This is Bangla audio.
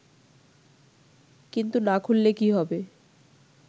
কিন্তু না খুললে কী হবে